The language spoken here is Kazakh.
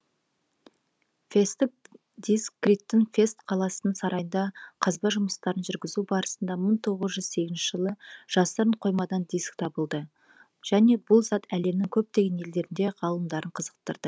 фесттік диск криттық фест қаласының сарайында қазба жұмыстарын жүргізу барысында мың тоғыз жүз сегізінші жылы жасырын қоймадан диск табылды және бұл зат әлемнің көптеген елдерінде ғалымдарын қызықтырды